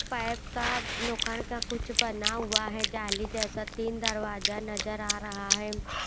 Pipe का लोखंड का कुछ बना हुआ है जाली जैसा तीन दरवाजा नजर आ रहा है।